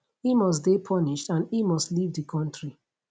e must dey punished and e must leave di kontri